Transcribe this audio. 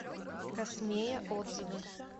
космея отзывы